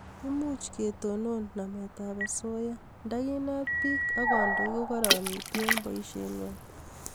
Much ketonon namet ab asoya ndakinet biik ak kandoik ko karanitu eng' boishe ngwai